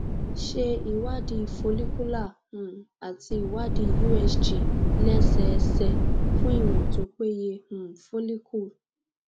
ṣe ìwádìí follicular um àti ìwádìí usg lẹsẹẹsẹ fún ìwọn tó peye fún um follicle